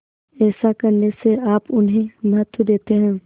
ऐसा करने से आप उन्हें महत्व देते हैं